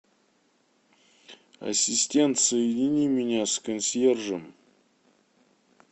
ассистент соедини меня с консьержем